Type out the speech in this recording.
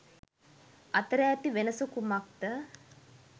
අතර ඇති වෙනස කුමක්ද?